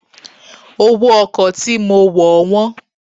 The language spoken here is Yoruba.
Owó ọkọ̀ tí mo wọ̀ wọ́n.